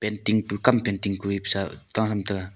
tongpu kampen tingku epesa ta ham taiga.